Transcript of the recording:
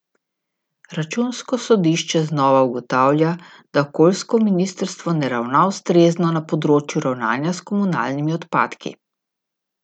Računsko sodišče znova ugotavlja, da okoljsko ministrstvo ne ravna ustrezno na področju ravnanja s komunalnimi odpadki.